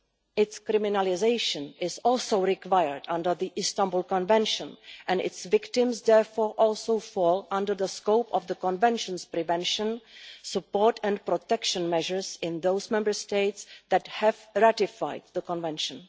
Its criminalisation is also required under the Istanbul Convention, and its victims therefore also fall within the scope of the Convention's prevention, support and protection measures in those Member States that have ratified the Convention.